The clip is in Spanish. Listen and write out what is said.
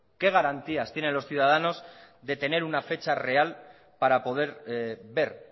qué garantías tienen los ciudadanos de tener una fecha real para poder ver